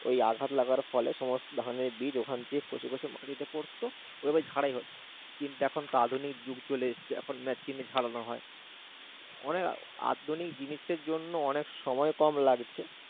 ঐ আঘাত লাগার ফলে সমস্ত ধানের বীজ ওখান থেকে খসে খসে মাটিতে পড়তো, ঐভাবে ছাঁটাই হতো। কিন্তু এখন তো আধুনিক যুগ চলে এসছে এখন মেশিনে ছাড়ানো হয়। অনেক আধুনিক জিনিসের জন্য অনেক সময় কম লাগছে।